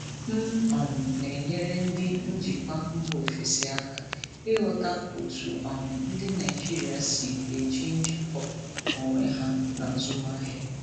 M um na-enyere ndị njikwa mba ofesi aka ịghọta otú um ndị Naijiria si eji njikọ onwe ha na azụmahịa.